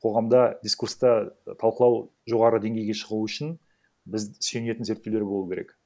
қоғамда дискурста талқылау жоғары деңгейге шығу үшін біз сүйенетін зерттеулер болу керек